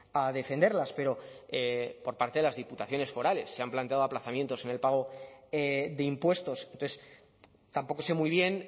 a defenderlas pero por parte de las diputaciones forales se han planteado aplazamientos en el pago de impuestos entonces tampoco sé muy bien